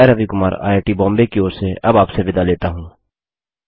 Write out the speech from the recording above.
मैं रवि कुमार आईआईटीबॉम्बे की ओर से अब आपसे विदा लेता हूँ